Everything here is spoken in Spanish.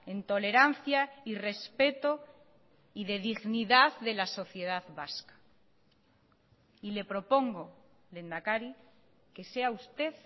en tolerancia y respeto y de dignidad de la sociedad vasca y le propongo lehendakari que sea usted